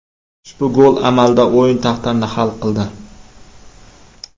Ushbu gol amalda o‘yin taqdirini hal qildi.